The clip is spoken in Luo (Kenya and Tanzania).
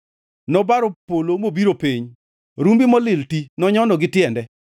Nobaro polo mobiro e piny; rumbi molil ti nonyono gi tiende.